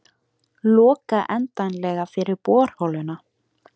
Loka endanlega fyrir borholuna